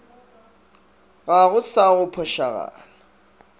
ga go sa go phošagala